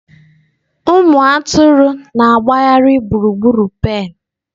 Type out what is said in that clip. Ụmụ atụrụ na-agbagharị gburugburu pen.